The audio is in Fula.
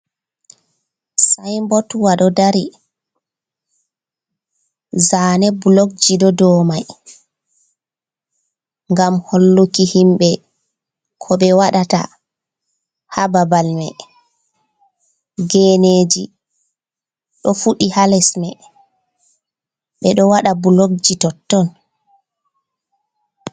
Sayinbotwa ɗo dari zane bulokji ɗo dow may ,ngam holluki himɓe ko ɓe waɗata haa babal may. Geneeji ɗo fuɗi haa les may, ɓe ɗo waɗa bulokji totton.